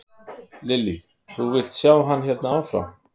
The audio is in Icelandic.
Lillý: Þú vilt sjá hann hérna áfram?